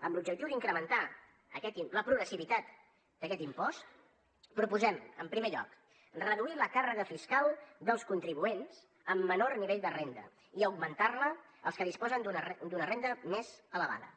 amb l’objectiu d’incrementar la progressivitat d’aquest impost proposem en primer lloc reduir la càrrega fiscal dels contribuents amb menor nivell de renda i augmentar la als que disposen d’una renda més elevada